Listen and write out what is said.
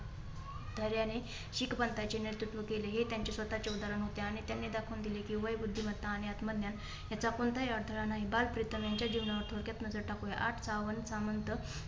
धेर्याने शीख पंथाचे नेतृत्व केले. हे त्यांचे स्वतःचे उदाहरण होते आणि त्याने दाखवून दिले की वय बुद्धिमत्ता आणि आत्मज्ञान याचा कोणताही अडथळा नाही. बाल प्रितम यांच्या जीवनावर थोडक्यात नजर टाकुया. आठ सावंत सामंत